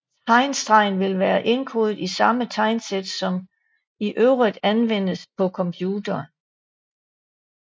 Tegnstrengen vil være indkodet i samme tegnsæt som i øvrigt anvendes på computeren